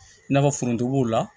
I n'a fɔ foronto b'o la